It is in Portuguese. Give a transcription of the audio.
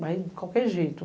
Vai de qualquer jeito.